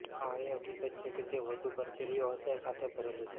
આ એ હકીકત છે કે તે વધુ કરચલીઓ હશે સાથે ભરેલું છે